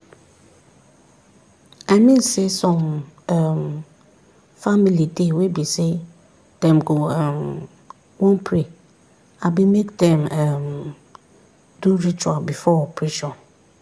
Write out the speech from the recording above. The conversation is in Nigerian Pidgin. i mean saysome um family dey wey be say dem go um wan pray abi make dem um do ritual before operation.